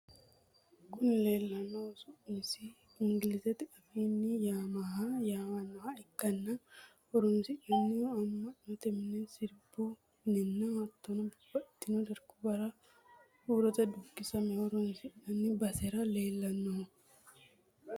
Kuni lelanohu su’masi enigilizte affinni yamaaha yammanoha ikana horronisinanihuno amanote mine, sirribu minenna hattono babatitino dariguwara hurote dukisame horonisinani basera lelanoho.